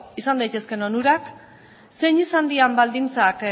izan daitezkeen onurak zein izan diren baldintzak